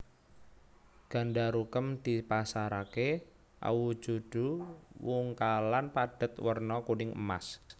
Gandarukem dipasaraké awujudu wungkalan padhet werna kuning emas